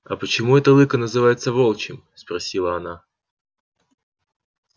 а почему это лыко называется волчьим спросила она